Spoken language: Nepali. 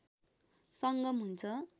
सङ्गम हुन्छ